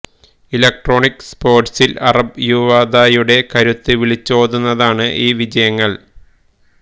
electronic സ്പോര്ട്സില് അറബ് യുവതയുടെ കരുത്ത് വിളിച്ചോതുന്നതാണ് ഈ വിജയങ്ങള്